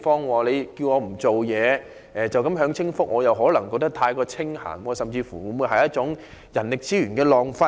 如果叫他們不要工作，只享清福，他們可能會感到太清閒，甚至變成一種人力資源的浪費。